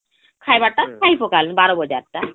ଖାଇବାର ଟା ଖାଇ ପକାଲୁ ବାରବଜାର ଟା